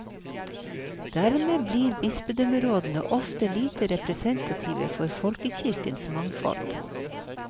Dermed blir bispedømmerådene ofte lite representative for folkekirkens mangfold.